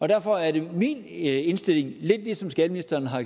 derfor er det min indstilling lidt ligesom skatteministeren har